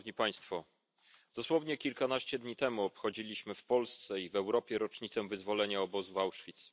Szanowni Państwo! Dosłownie kilkanaście dni temu obchodziliśmy w Polsce i w Europie rocznicę wyzwolenia obozu w Auschwitz.